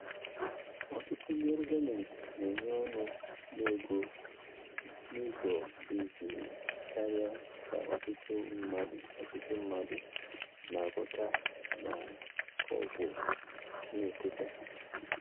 Ọtụtụ ndị ọrụ gọọmentị na-enye ọnụ na-ego n'ụzọ dị jụụ karịa ka ọtụtụ mmadụ ọtụtụ mmadụ na-aghọta ma ọ bụ na-ekweta.